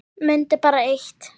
Mundu bara eitt.